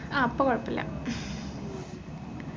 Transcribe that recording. ആ ഇപ്പൊ കുഴപ്പില്ല ഹും